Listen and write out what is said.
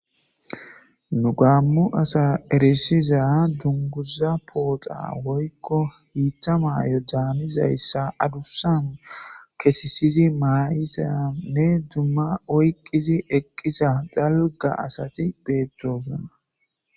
Nu gaammo asa erissiza dunguza pooxa woyko hiitha mayo caanizayssa adussa kesisizi ma7izanne dumma oyqqizi eqqiza dalga asati beettosona